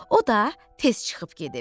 O da tez çıxıb gedib.